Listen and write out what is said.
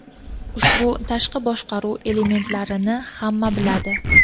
Ushbu tashqi boshqaruv elementlarini hamma biladi.